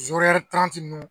ninnu